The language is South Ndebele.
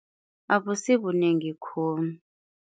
Abusibunengi khulu.